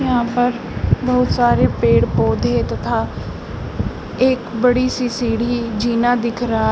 यहां पर बहुत सारे पेड़ पौधे तथा एक बड़ी सी सीढ़ी जीना दिख रहा है।